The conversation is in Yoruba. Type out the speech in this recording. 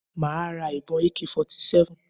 Màá ra ìbọn Ak 47